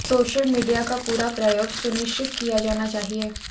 social media का पूरा प्रयोग सुनिश्चित किया जाना चाहिए